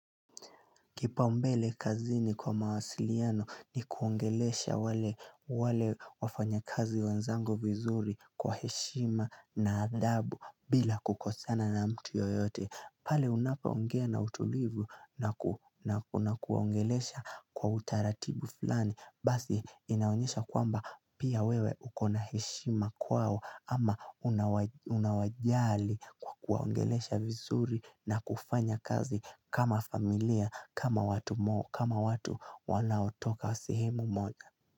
Kipaumbele kazini kwa mawasiliano ni kuongelesha wale wafanyakazi wenzangu vizuri kwa heshima na adhabu bila kukosana na mtu yoyote. Pale unapo ongea na utulivu na kuna kuwaongelesha kwa utaratibu fulani Basi inaonyesha kwamba pia wewe ukona heshima kwao ama unawajali kwa kuwaongelesha vizuri na kufanya kazi kama familia kama watu wanaotoka sehemu moja.